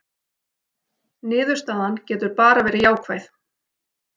Niðurstaðan getur bara verið jákvæð